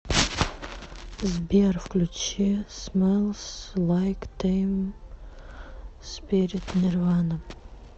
сбер включи смэлс лайк тин спирит нирвана